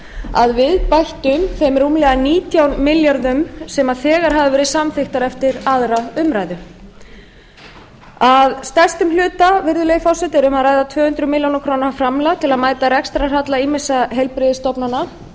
að viðbættum þeim rúmlega nítján milljörðum sem þegar hafa verið samþykktir eftir aðra umræðu að stærstum hluta virðulegi forseti er um að ræða tvö hundruð milljóna króna framlag til að mæta rekstrarhalla ýmissa heilbrigðisstofnana